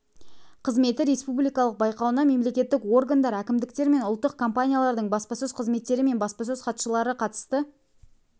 қызметі республикалық байқауына мемлекеттік органдар әкімдіктер мен ұлттық компаниялардың баспасөз қызметтері мен баспасөз хатшылары қатысты